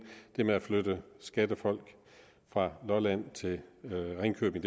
det med at flytte skattefolk fra lolland til ringkøbing